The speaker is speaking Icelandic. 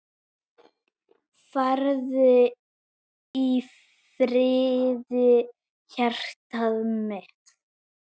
Farðu í friði hjartað mitt.